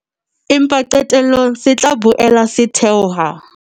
Empa qetellong se tla boela se theoha.